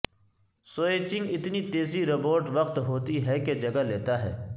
switching اتنی تیزی robot وقت ہوتی ہے کہ جگہ لیتا ہے